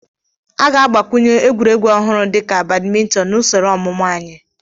A ga-agbakwunye egwuregwu ọhụrụ dị ka badimintin na usoro ọmụmụ anyị.